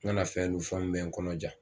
N kana fɛn dun fɛn min bɛ n kɔnɔ ja